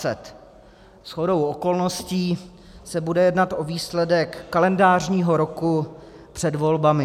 Shodou okolností se bude jednat o výsledek kalendářního roku před volbami.